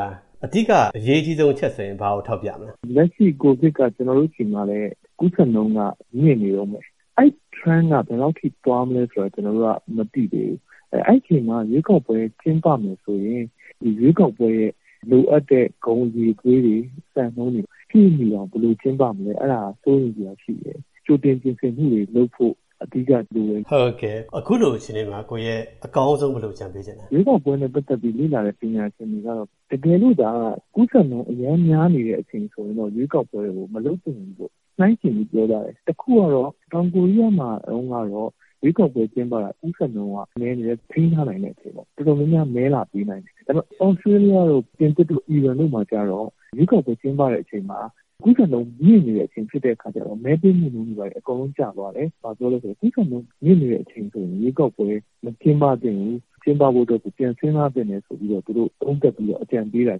ာ အဓိကအရေးကြီးဆုံး အချက်ဆိုရင် ဘာကို ထောက်ပြမလဲ။ လက်ရှိ COVID က ကျနော်တို့ဆီမှာလည်း ကူးစက်နှုန်းက မြင့်နေတုန်းပဲ ။ အဲဒီ Trend က ဘယ်လောက်အထိ သွားမလဲဆိုတာ ကျနော်တို့က မသိသေးဘူး။ အဲဒီအချိန်မှာ ရွေးကောက်ပွဲ ကျင်းပမယ်ဆိုရင် ဒီရွေးကောက်ပွဲရဲ့ လိုအပ်တဲ့ ဂုဏ်အရည်အသွေးတွေ စံနှုန်းတွေကို ပြည့်မီအောင် ဘယ်လိုကျင်းပမလဲ အဲဒါက စိုးရိမ်စရာရှိပါတယ်။ ကြိုတင်ပြင်ဆင်မှုတွေ လုပ်ဖို့အဓိကလိုတယ်။ ဟုတ်ကဲ့ အခုလိုအခြေအနေမှာ ကိုရဲ အကောင်းဆုံးဘယ်လိုအကြံပေးချင်ပါသလဲ။ ရွေးကောက်ပွဲနဲ့ ပတ်သက်ပြီး လေ့လာတဲ့ ပညာရှင်တွေကတာ့ တကယ်လို့သာ ကူးစက်နှုန်း အရမ်းများနေတဲ့အချိန်ဆိုရင်တော့ ရွေးကောက်ပွဲကို မလုပ်သင့်ဘူးပေါ့၊ နှိုင်းယှဉ်ပြီးပြောကြတယ်။ တခုကတော့ တောင်ကိုရီးယားမှာတုန်းကတော့ ရွေးကောက်ပွဲကျင်းပတာ၊ ကူးစက်နှုန်း နည်းတယ်၊ ထိန်းထားနိုင်တဲ့အချိန်ပေါ့ ၊ တော်တော်များများ မဲလာပေးနိုင်တယ်။ ဒါပေမယ့် သြစတေးလျတို့ ၊ ပြင်သစ်တို့၊ အီရန်တို့မှာကျတော့ ရွေးကောက်ပွဲ ကျင်းပတဲ့အချိန်မှာ ကူးစက်နှုန်းမြင့်နေတဲ့ အခါဆိုတော့ မဲပေးနှုန်းက အကုန်လုံး ကျသွားတယ်။ ဘာဖြစ်လို့လဲဆိုတော့ ကူးစက်နှုန်းမြင့်နေတဲ့ အခါဆိုတော့ ရွေးကောက်ပွဲ မကျင်းပသင့်ဘူး ကျင်းပဖို့ကို ပြန်စဉ်းစားသင့်တယ်လို့ သုံးသပ်ပြီးတော့ သူတို့ အကြံပေးတာ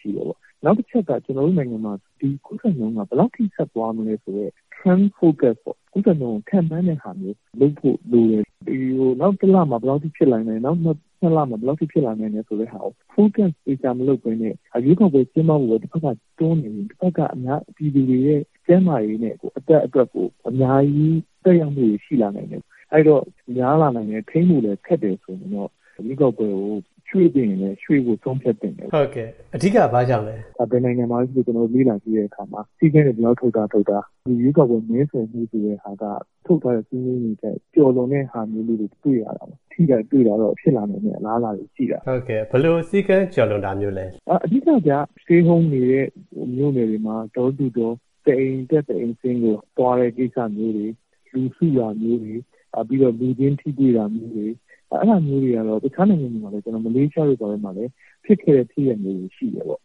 ရှိတယ်ပေါ့။ နောက်တချက်ကတော့ ကျနော်တို့နိုင်ငံမှာ ဒီကူးစက်မှုက ဘယ်လောက်အထိ ဆက်သွားမလဲဆိုတဲ့ Trend Focus ပေါ့ ကူးစက်နှုန်းကို ခန့်မှန်းတဲ့ဟာကို လုပ်ဖို့လိုတယ်။ နောက်တလမှာ ဘယ်လောက်အထိ ဖြစ်နိုင်မယ်၊ နောက် ၂ လမှာ ဘယ်လောက်အထိ ဖြစ်နိုင်တယ်ဆိုတာကို focus သေချာမလုပ်ပဲနဲ့ ရွေးကောက်ပွဲ ကျင်းပဖို့ပဲ တဖက်က တွန်းနေရင် ဒီဘက်က အများပြည်သူတွေရဲ့ ကျန်းမာရေးနဲ့ အသက်အတွက်ကို အများကြီး သက်ရောက်မှုတွေ ရှိလာနိုင်တယ်။ အဲဒီတော့ ကူးစက်တာများလာနိုင်တယ် ထိန်းဖို့လည်း ခက်တယ်ဆိုရင်တော့ ရွေးကောက်ပွဲကို ရွှေ့သင့်ရင်လည်း ရွှေ့ဖို့ ဆုံးဖြတ်သင့်တယ်။ အဓိက ဘာကြောင့်လဲ။ ဘယ်နိုင်ငံမှာပဲ ဖြစ်ဖြစ် ကျနော်တို့ လေ့လာကြည့်တဲ့အခါ စည်းကမ်းတွေ ဘယ်လောက်ထုတ်ထား ဒီရွေးကောက်ပွဲ မဲဆွယ်မှုဆိုတာက ထုတ်ထားတဲ့ စည်းမျဥ်းတွေထက် ကျော်လွန်တဲ့ဟာမျိုးလေးတွေ တွေ့ရတာပေါ့နော်။ ထိတာ၊ တွေ့တာတော့ ဖြစ်လာနိုင်တဲ့ အလားအလာတွေ ရှိတာပေါ့။ ဘယ်လို စည်းကမ်းကျော်လွန်တာမျိုးလဲ။ အဓိကတော့ Stay Home နေတဲ့ မြို.နယ်တွေမှာ Door to Door တအိမ်တက် တအိမ်ဆင်း သွားတဲ့ကိစ္စမျိုးတွေ ၊ လူစုတာမျိုးတွေ လူချင်းထိတွေ့တာမျိုးတွေ အဲဒါမျိုးကတော့ တခြားနိုင်ငံမှာလည်း၊ ကျနော်တို့ မလေးရှားတို့မှာလည်း ဖြစ်ခဲ့တဲ့ ဖြစ်ရပ်မျိုးတွေရှိတယ်ပေါ့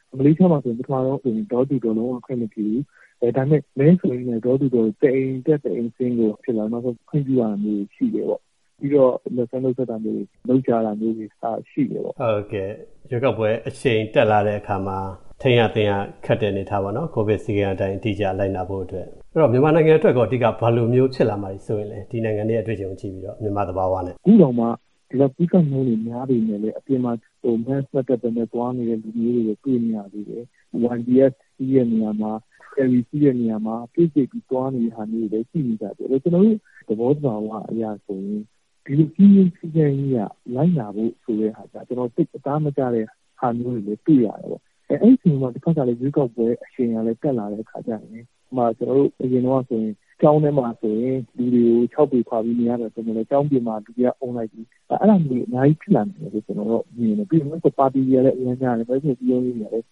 ။ မလေးရှားမှာဆိုရင် ပထမဆုံးဆိုရင် Door to Door လုံးဝခွင့်မပြုဘူး။ ဒါပေမယ့် မဲဆွယ်ရင်းနဲ့ Door to Door တအိမ်တက် တအိမ်ဆင်း ဖြစ်လာတယ် နောက်ဆုံး ခွင့်ပြုတာမျိုးတွေရှိတယ် ။ နောက်ပြီးတော့ လက်ဆွဲနှုတ်ဆက်တာမျိုးတွေ လုပ်တာတွေ ရှိတယ်ပေါ့နော်။ ဟုတ်ကဲ့ ရွေးကောက်ပွဲ အရှိန်တက်လာတဲ့အခါမှာ ထိန်းရသိမ်းရ ခတ်တဲ့အနေအထားပေါ့နော်။ ကိုဗစ်စည်းကမ်းအတိုင်း အတိအကျ လိုက်နာဖို့အတွက်။ အဲဒီတော့ မြန်မာနိုင်ငံအတွက် ဘာတွေအဓိကဖြစ်လာမှာ စိုးရိမ်ပါသလဲ ။ ဒီနိုင်ငံက အတွေ့အကြုံတွေကို ကြည့်ပြီးတော့ မြန်မာ့သဘာဝနဲ့ ။ အခုတောင်မှ ဒီလောက်ကူးစက်နှုန်းတွေ များနေပေမယ့်လည်း အပြင်မှာ Mask မတပ်ပဲနဲ့ သွားနေတဲ့သူတွေကိုတွေ့နေရသေးတယ်။ YBS စီးတဲ့နေရာမှာ Ferry စီးတဲ့နေရမှာ တိုးကြိတ်ပြီးတော့သွားနေတာတွေရှိနေသေးတယ်။ ကျနော်တို့ သဘောသဘာဝအရဆိုရင် ဒီလိုစည်းကမ်း လိုက်နာဖို့ဆိုရင် ကျနော်တို့ အသားမကျတဲ့ဟာမျိုးတွေ တွေ့ရတယ်ပေါ့။ အဲဒီအခြေအနေမျိုးမှာ တဖက်က ရွေးကောက်ပွဲ အရှိန်တွေကလည်း တက်လာတဲ့အခါကျရင် ဥပမာ ကျနော်တို့ အရင်တုန်းကဆိုရင် ကျောင်းထဲမှာ လူတွေကို ၆ ပေခွာပြီးနေရမယ်ဆိုပေမဲ့လည်း၊ ကျောင်းအပြင်မှာ လူတွေက အုံလိုက်ကြီး အဲဒါမျိုးတွေ အများကြီးဖြစ်လာနိုင်တယ်လို့ ကျနော်တို့ မြင်တယ်။ ပြီးတော့ ပါတီတွေကလည်း အရမ်းများတယ် မဲဆွယ်စည်းရုံးရေးတွေကလည်း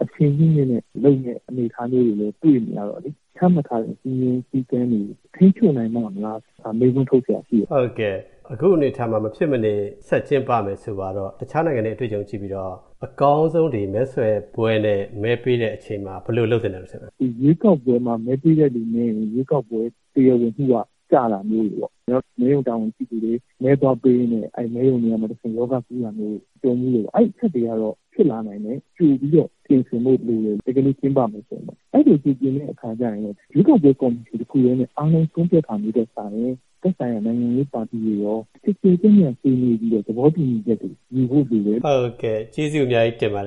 အရှိန်မြင့်မြင့်လုပ်တဲ့အနေအထားတွေ တွေ့နေရတော့ သတ်မှတ်ထားတဲ့ စည်းမျဉ်းစည်းကမ်းတွေကို ထိန်းချုပ်နိုင်ပါ့မလား ဆိုတာ မေးခွန်းထုတ်စရာရှိတယ်။ ဟုတ်ကဲ့ အခုအနေအထားမှာ မဖြစ်မနေ ဆက်ကျင်းပမယ်ဆိုပါတော့ တခြားနိုင်ငံ အတွေ့အကြုံတွေကြည့်ပြီးတော့ အကောင်းဆုံး ဒီမဲဆွယ်ပွဲနဲ့၊ မဲပေးတဲ့အချိန်မှာ ဘယ်လိုလုပ်သင့်သလဲ။ ရွေးကောက်ပွဲမှာ မဲပေးတဲ့သူနည်းရင် ရွေးကော်ပွဲ တရားဝင်မူက ကျတာမျိုးတွေပေါ့။ နောက် မဲရုံတာဝန်ရှိသူတွေ၊ မဲပေးတဲ့သူတွေ မဲသွားပေးရင်းနဲ့ အဲဒီမဲရုံတွေကတဆင့် ရောဂါကူးတာမျိုးတွေ ကြုံဖူးတယ်ပေါ့ အဲဒီအချက်တွေကတော့ ဖြစ်လာနိုင်တယ် ကြိုပြီးတော့ ပြင်ဆင်ဖို့လိုတယ် တကယ်လို့ ကျင်းပမယ်ဆိုရင်ပေါ့။ အဲလို စီစဉ်တဲ့အခါကျရင် ရွေးကောက်ပွဲ ကော်မရှင်တခုထဲနဲ့ အားလုံးဆုံးဖြတ်တာမျိုးထက်စာရင် သက်ဆိုင်ရာ နိုင်ငံရေးပါတီတွေကရော ကျယ်ကျယ်ပြန့်ပြန့် ဆွေးနွေးပြီးတော့ သဘောတူညီချက်တွေ ယူဖို့လိုတယ်။ ဟုတ်ကဲ့ ကျေးဇူးအများကြီးတင်ပါတယ်